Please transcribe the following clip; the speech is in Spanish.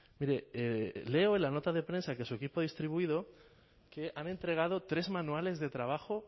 mire leo en la nota de prensa que su equipo ha distribuido que han entregado tres manuales de trabajo